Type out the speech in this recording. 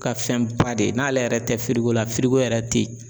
Ka fɛnba de ye n'ale yɛrɛ tɛ la yɛrɛ tɛ ye.